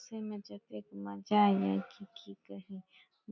मजा एले की कि कही --